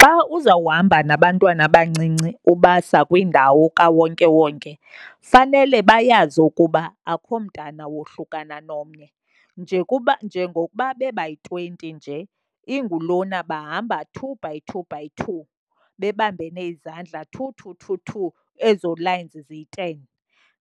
Xa uzawuhamba nabantwana abancinci ubasa kwindawo kawonkewonke fanele bayazi ukuba akukho mntana wohlukane nomnye. Nje kuba, njengokuba bebayi-twenty nje, ingulona bahamba two by two by two, bebambene izandla two, two, two, two, ezo lines ziyi-ten.